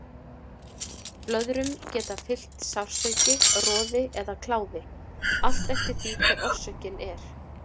Blöðrum geta fylgt sársauki, roði eða kláði, allt eftir því hver orsökin er.